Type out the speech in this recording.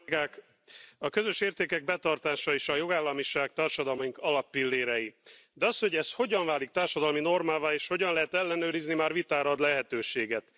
Tisztelt Elnök úr! A közös értékek betartása és a jogállamiság társadalmunk alappillérei. De az, hogy ez hogyan válik társadalmi normává, és hogyan lehet ellenőrizni, már vitára ad lehetőséget.